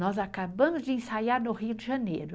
Nós acabamos de ensaiar no Rio de Janeiro.